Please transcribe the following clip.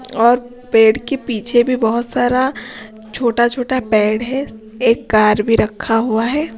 और पेड़ के पीछे भी बहुत सारा छोटा-छोटा पेड़ है एक कार भी रखा हुआ है।